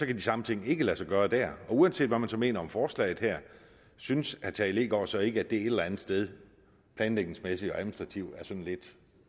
de samme ting ikke lade sig gøre der uanset hvad man så mener om forslaget her synes herre tage leegaard så ikke at det et eller andet sted planlægningsmæssigt og administrativt er sådan lidt